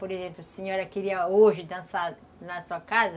Por exemplo, a senhora queria hoje dançar na sua casa,